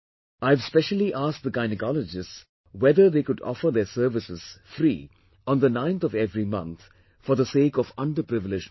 I have specially asked the gynecologists whether they could offer their services free on the 9th of every month, for the sake of under privileged mothers